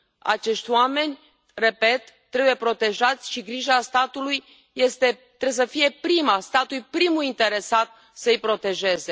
Acești oameni, repet, trebuie protejați și grija statului trebuie să fie prima, statul este primul interesat să i protejeze.